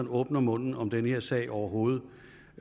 at åbne munden om den her sag overhovedet